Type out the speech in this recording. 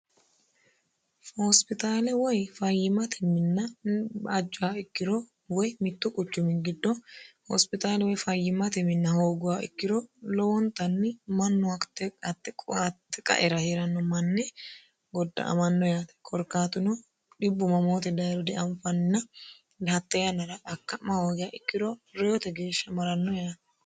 hoosipitaale woy fayyimate minna bajjoha ikkiro woy mittu quchumi giddo hoospitaale woy fayyimate minna hooggoha ikkiro lowontanni manno hatte qaera hie'ranno manne godda amanno yaate korkaatuno dhibbu mamoote dayiro deanfanna dihaxxe yannara akka'ma hoogaha ikkiro reyote geeshsha maranno yaate